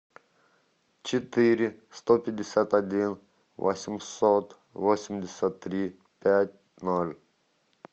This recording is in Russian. четыре сто пятьдесят один восемьсот восемьдесят три пять ноль